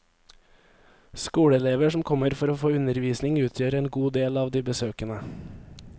Skoleelever som kommer for å få undervisning utgjør en god del av de besøkende.